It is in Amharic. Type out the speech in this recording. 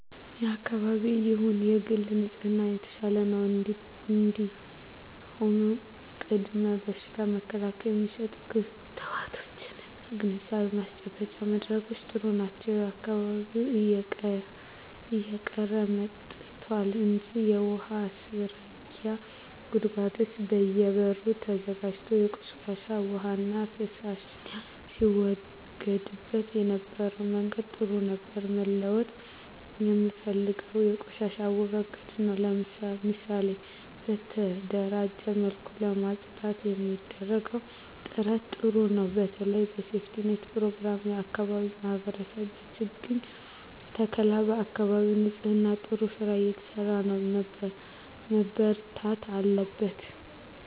የአካባቢ ይሁን የግል ንጽህና የተሻለ ነው እንዲሁም ቅድመ በሽታ መከላከል የሚሰጡ ክትባቶች እና ግንዛቤ ማስጨበጫ መድረኮች ጥሩ ናቸው በየአካባቢው እየቀረ መጥቷል እንጂ የውሀ ማስረጊያ ጉድጓዶች በየ በሩ ተዘጋጅቶ ቆሻሻ ዉሃና ፍሳሽ ሲወገድበት የነበረበት መንገድ ጥሩ ነበር መለወጥ የምፈልገው የቆሻሻ አወጋገዳችንን ነው ምሳሌ በተደራጀ መልኩ ለማፅዳት የሚደረገው ጥረት ጥሩ ነው በተለይ በሴፍትኔት ፕሮግራም የአካባቢ ማህበረሰብ በችግኝ ተከላ በአካባቢ ንፅህና ጥሩ ስራ እየተሰራ ነው መበርታት አለበት